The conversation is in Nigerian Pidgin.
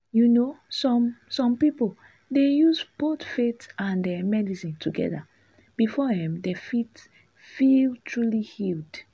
you know some some people dey use both faith and um medicine together before um dem fit feel truly healed.